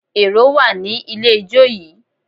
Èrò wà ní ilé ijó yìí